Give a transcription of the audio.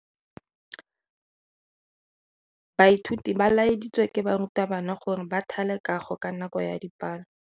Baithuti ba laeditswe ke morutabana gore ba thale kago ka nako ya dipalo.